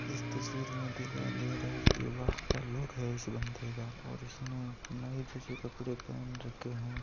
इस तस्वीर में दिखाय दे रहा है की वाह क्या लुक है इस बन्दे का और इसने नाई जेसे कपडे पहन रखे है।